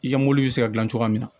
I ka mobili bɛ se ka dilan cogoya min na